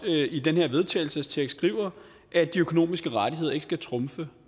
i den her vedtagelsestekst skriver at de økonomiske rettigheder ikke skal trumfe